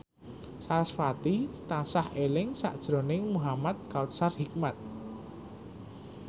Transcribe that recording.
sarasvati tansah eling sakjroning Muhamad Kautsar Hikmat